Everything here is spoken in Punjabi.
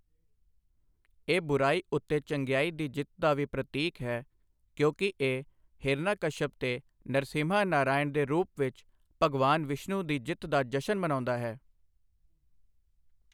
ਇਹ ਬੁਰਾਈ ਉੱਤੇ ਚੰਗਿਆਈ ਦੀ ਜਿੱਤ ਦਾ ਵੀ ਪ੍ਰਤੀਕ ਹੈ, ਕਿਉਂਕਿ ਇਹ ਹਿਰਣਾਯਕਸ਼ਿਪੂ' ਤੇ ਨਰਸਿਮਹਾ ਨਾਰਾਇਣ ਦੇ ਰੂਪ ਵਿੱਚ ਭਗਵਾਨ ਵਿਸ਼ਨੂੰ ਦੀ ਜਿੱਤ ਦਾ ਜਸ਼ਨ ਮਨਾਉਂਦਾ ਹੈ।